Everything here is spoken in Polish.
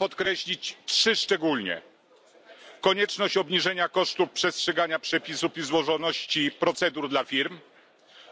Chcę podkreślić trzy szczególnie konieczność obniżenia kosztu przestrzegania przepisów i złożoności procedur dla firm,